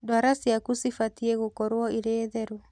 Ndwara ciaku cibatiĩ gukorwo irĩ theru.